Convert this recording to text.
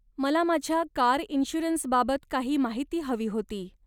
मला माझ्या कार इन्श्युरन्सबाबत काही माहिती हवी होती.